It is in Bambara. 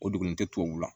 O dugulen tɛ tubabu la